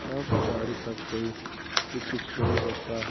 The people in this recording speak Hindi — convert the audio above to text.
यहाँ पर गाड़ी का कोई भी कुछ नहीं होता है।